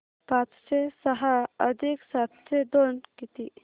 पाचशे सहा अधिक सातशे दोन किती